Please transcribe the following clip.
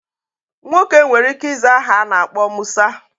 Nwoke nwere ike iza aha ana akpo Musa.